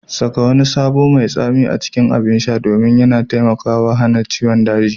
Saka wani sabo mai tsami a cikin abin sha domin yana taimakawa hana ciwon daji.